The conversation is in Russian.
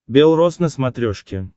бел роз на смотрешке